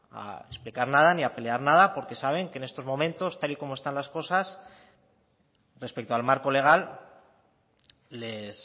a explicar nada ni a pelear nada porque saben que en estos momento tal y como están las cosas respecto al marco legal les